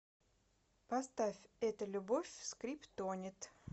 поставь это любовь скриптонит